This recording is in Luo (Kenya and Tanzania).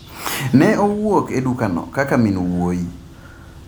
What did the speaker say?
Ne owuok e dukano kaka min wuoyi.